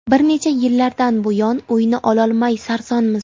Bir necha yillardan buyon uyni ololmay sarsonmiz.